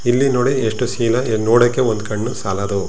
ಇಲ್ಲಿ ನೋಡಿ ಎಷ್ಟು ಸೀನ್ ನೋಡಕ್ಕೆ ಒಂದು ಕಣ್ಣು ಸಾಲದು.